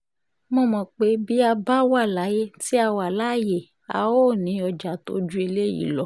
mo mọ̀ pé bí a bá wà láyé tí a wà láàyè a óò ní ọjà tó ju eléyìí lọ